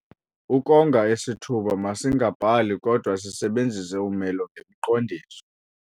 Ukonga isithuba masingabhali kodwa sisebenzise umelo ngemiqondiso.